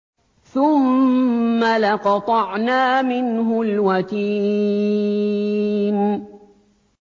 ثُمَّ لَقَطَعْنَا مِنْهُ الْوَتِينَ